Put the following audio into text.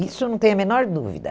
Isso eu não tenho a menor dúvida.